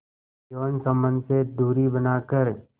यौन संबंध से दूरी बनाकर